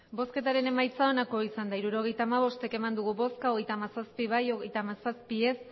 hirurogeita hamabost eman dugu bozka hogeita hamazazpi bai hogeita hamazazpi ez